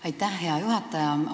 Aitäh, hea juhataja!